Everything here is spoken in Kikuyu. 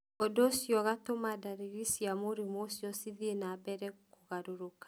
Ũndũ ũcio ũgatũma ndariri cia mũrimũ ũcio cithiĩ na mbere kũgarũrũka.